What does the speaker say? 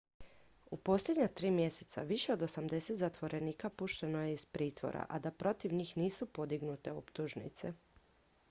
u posljednja 3 mjeseca više od 80 zatvorenika pušteno je iz pritvora a da protiv njih nisu podignute optužnice